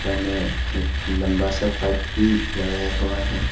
हमें एक लंबा सा पाईप भी लगाया हुआ है।